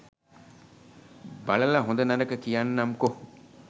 බලල හොද නරක කියන්නම්කො.!